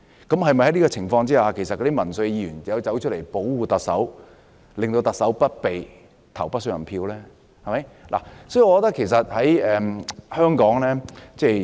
在這種情況下，那些民粹議員是否便要出來保護特首，令不信任特首的議案不通過呢？